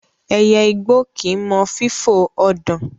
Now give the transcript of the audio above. Ẹyẹ igbó kì í mọ fífò ọ̀dàn.